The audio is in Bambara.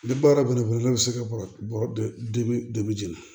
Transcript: Ni baara banna ne bɛ se ka bɔrɔ jeni